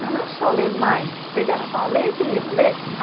Mas não é só ler mais, pegar e falar, lê esse livro, lê.